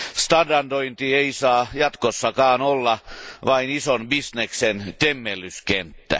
Standardointi ei saa jatkossakaan olla vain ison bisneksen temmellyskenttä.